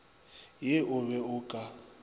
ye o be o ka